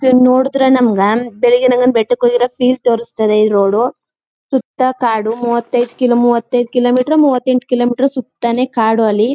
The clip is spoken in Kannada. ಇದನ್ನ ನೋಡಿದ್ರೆ ನಮಗ ಬಿಳಿಗಿರಿ ರಂಗನ ಬೆಟ್ಟಕ್ಕೆ ಹೋಗಿರೋ ಫೀಲ್ ತೋರಿಸ್ತದೆ ಈ ರೋಡ್ ಸುತ್ತ ಕಾಡು ಮೂವತ್ತೈದು ಕಿಲೋ ಮೂವತ್ತೈದು ಕಿಲೋಮೀಟರು ಮೂವತ್ತೆಂಟು ಕಿಲೋಮೀಟರು ಸುತ್ತ ನೇ ಕಾಡು ಅಲ್ಲಿ.--